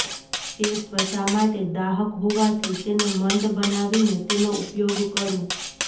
તે ત્વચા માટે દાહક હોવાથી તેને મંદ બનાવીને તેનો ઉપયોગ કરો